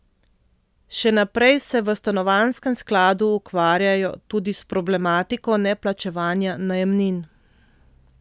Še naprej se v stanovanjskem skladu ukvarjajo tudi s problematiko neplačevanja najemnin.